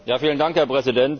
Herr Präsident!